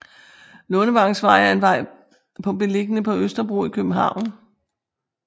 Lundevangsvej er en vej på beliggende på Østerbro i København